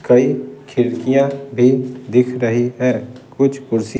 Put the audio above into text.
कई खिड़कियां भी दिख रही है कुछ कुर्सी --